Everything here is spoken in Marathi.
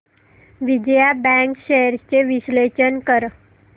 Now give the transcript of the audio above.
विजया बँक शेअर्स चे विश्लेषण कर